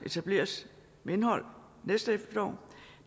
etableres med indhold næste efterår